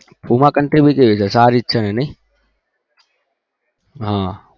puma company ની કેવી છે સારી છે ને